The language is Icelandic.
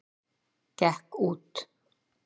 Gekk út!